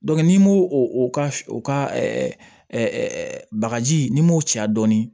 n'i m'o o ka o ka bagaji n'i m'o cɛ dɔɔnin